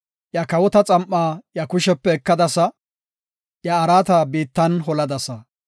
Iya kawota xam7aa iya kushepe ekadasa; iya araata biittan holadasa.